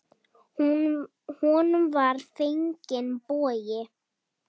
Honum var fenginn bogi.